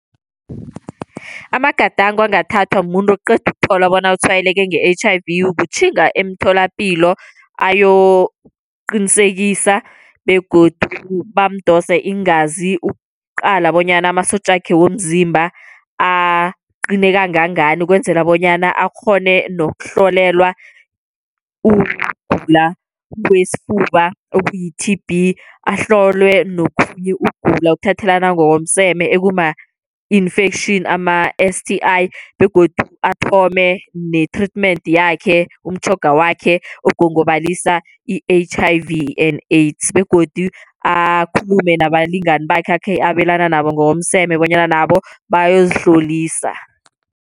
Amagadango angathathwa mumuntu oqeda ukuthola bona utshwayeleke nge-H_I_V kutjhinga emtholapilo ayokuqinisekisa, begodu bamdose iingazi ukuqala bonyana amasotja wakhe womzimba aqine kangangani, ukwenzela bonyana akghone nokuhlolelwa ukugula kwesifuba okuyi-T_B. Ahlolwe nokhunye ukugula okuthathelana ngomseme okuma-infection ama-STIs, begodu athome ne-treatment yakhe umtjhoga wakhe ogongobalisa i-H_I_V and AIDS. Begodu akhulume nabalingani bakhe akhe abelana nabo ngokomseme bonyana nabo bayozihlolisa.